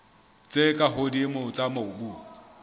tse ka hodimo tsa mobu